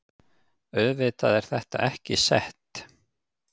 Auðvitað er þetta ekki sett